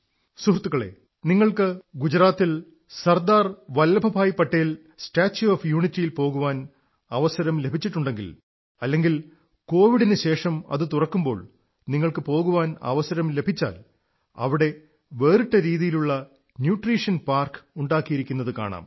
സുഹൃത്തുക്കളേ നിങ്ങൾക്ക് ഗുജറാത്തിൽ Sardar Vallabhbhai Patel statue of യൂണിറ്റിയിൽ പോകാൻ അവസരം ലഭിച്ചിട്ടൂണ്ടെങ്കിൽ അല്ലെങ്കിൽ കോവിഡിനു ശേഷം അത് തുറക്കുമ്പോൾ നിങ്ങൾക്ക് പോകാൻ അവസരം ലഭിച്ചാൽ അവിടെ വേറിട്ട രീതിയിലുള്ള ന്യൂട്രീഷൻ പാർക്ക് ഉണ്ടാക്കിയിരിക്കുന്നതു കാണാം